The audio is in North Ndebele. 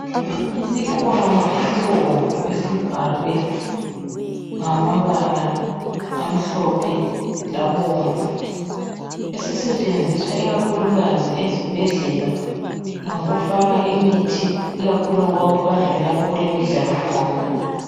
Isikhwama esibomvu esibhalwe ngamabala amhlophe, labomvu esisetshenziswa ikakhulukazi ezibhedlela ngokufaka imithi ikakhulu nxa kuhanjwa lapho okulemidlalo khona.